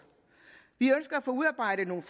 vi ønsker at få udarbejdet nogle